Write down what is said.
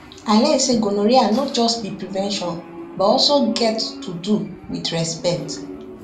i learn say gonorrhea no just be prevention but also get to do with respect